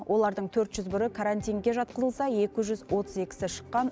олардың төрт жүз бірі карантинге жатқызылса екі жүз отыз екісі шыққан